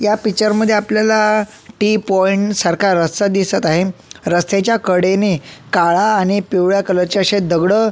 या पिक्चर मध्ये आपल्याला टी पॉईंट सारखा रस्ता दिसत आहे रस्त्याच्या कडेने काळा आणि पिवळ्या कलरचे असे दगड--